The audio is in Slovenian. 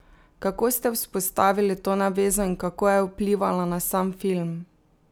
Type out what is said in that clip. Kako ste vzpostavili to navezo in kako je vplivala na sam film?